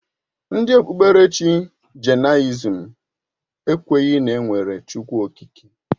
Ndị okpukpe Jainisim ekwenyeghi na enwere Chukwu Okike.